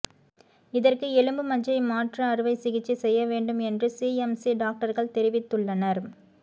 இதற்கு எலும்பு மஜ்ஜை மாற்று அறுவை சிகிச்சை செய்ய வேண்டும் என்று சிஎம்சி டாக்டர்கள் தெரிவித்துள்ளனர்